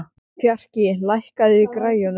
Fjarki, lækkaðu í græjunum.